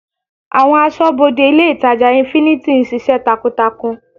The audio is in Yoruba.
Àwọn asọ́bodè ilé ìtàjà infinity ń ṣiṣẹ́ takuntakun.